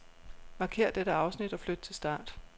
Markér dette afsnit og flyt til start.